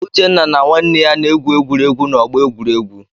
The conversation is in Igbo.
Uchenna na nwanne ya na-egwu egwuregwu n'ọgbọ egwuregwu.